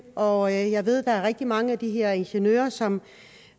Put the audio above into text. og jeg ved at der er rigtig mange af de her ingeniører som